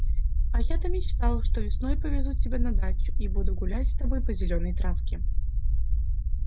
а я-то мечтал что весной повезу тебя на дачу и буду гулять с тобой по зелёной травке